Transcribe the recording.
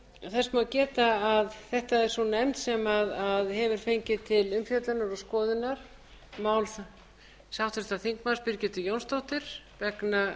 þess má geta að þetta er sú nefnd sem hefur fengið til umfjöllunar og skoðunar mál háttvirtum þingmanni birgittu jónsdóttur vegna